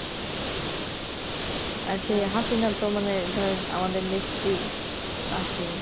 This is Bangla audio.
আর সেই Hasina তো মানে ধরেন আমাদের নেত্রী আছে